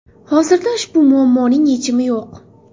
Hozirda ushbu muammoning yechimi yo‘q.